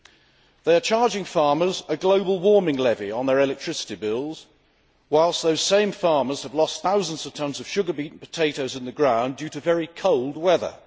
It is charging farmers a global warming levy on their electricity bills, whilst those same farmers have lost thousands of tons of sugar beet and potatoes in the ground due to very cold weather.